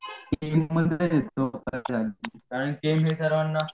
आणि सर्वाना